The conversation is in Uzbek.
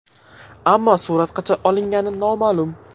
Ammo surat qachon olingani noma’lum.